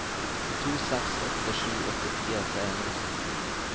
to seks åtte sju åttifire tre hundre og sytten